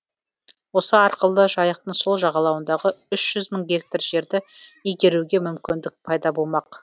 осы арқылы жайықтың сол жағалауындағы үш жүз мың гектар жерді игеруге мүмкіндік пайда болмақ